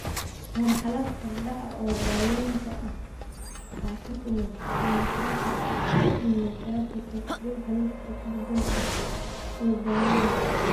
Marxalad horudhac ah oo daawaynta ah waxaa ka mid ah kiimoterabika, immunotherapyka, dhuuxa lafta ku beddelka, iyo dawooyinka.